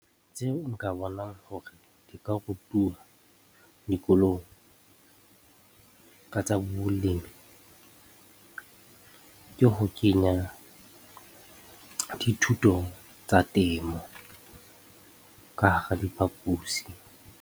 Tseo nka bonang hore di ka rutuwa dikolong ka tsa bolemi ke ho kenya dithuto tsa temo ka hara diphaposi.